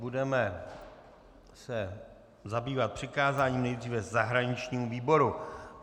Budeme se zabývat přikázáním nejdříve zahraničnímu výboru.